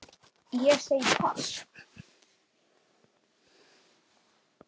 Ég segi pass.